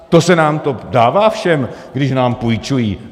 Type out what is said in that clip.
To se nám to dává všem, když nám půjčují.